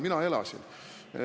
Mina elasin.